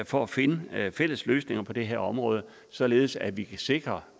for at finde fælles løsninger på det her område således at vi kan sikre